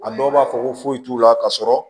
A dɔw b'a fɔ ko foyi t'u la ka sɔrɔ